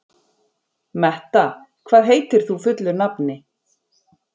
Metta, hvað heitir þú fullu nafni?